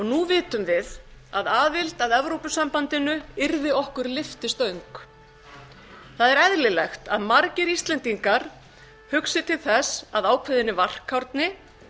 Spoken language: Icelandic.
nú vitum við að aðild að evrópusambandinu yrði okkur lyftistöng það er eðlilegt að margir íslendingar hugsi til þess af ákveðinni varkárni